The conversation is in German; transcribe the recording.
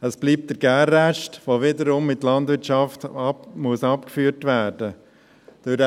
Es bleibt der Gärrest, der wiederum in die Landwirtschaft abgeführt werden muss.